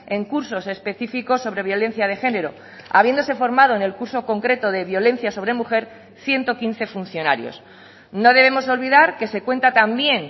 en cursos específicos sobre violencia de género habiéndose formado en el curso concreto de violencia sobre mujer ciento quince funcionarios no debemos olvidar que se cuenta también